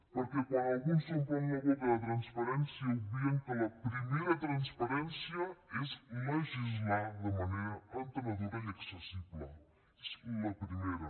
perquè quan alguns s’omplen la boca de transparència obvien que la primera transparència és legislar de manera entenedora i accessible és la primera